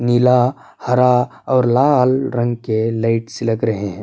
نیلا، ہرا، اور لال رنگ کے لائٹس لگ رہے ہے۔